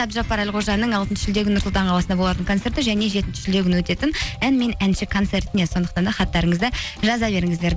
әбдіжаппар әлқожаның алтыншы шілде күні нұр сұлтан қаласында болатын концерті және жетінші шілде күні өтетін ән мен әнші концертіне сондықтан да хаттарыңызды жаза беріңіздер